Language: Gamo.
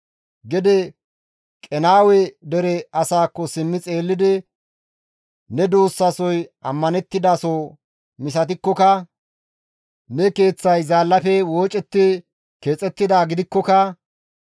Gede Qenaawe dere asaakko simmi xeellidi, «Ne duussasoy ammanettidaso misatikkoka, Ne keeththay zaallafe woocetti keexettidaa gidikkoka,